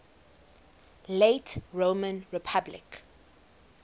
late roman republic